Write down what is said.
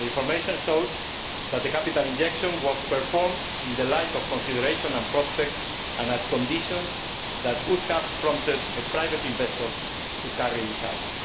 The information showed that the capital injection was performed in the light of considerations and prospects, and under conditions, that would have prompted a private investor to carry it out.